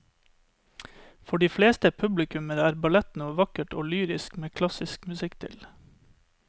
For de fleste publikummere er ballett noe vakkert og lyrisk med klassisk musikk til.